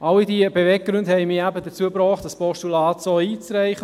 Alle diese Beweggründe haben mit dazu gebracht, das Postulat so einzureichen.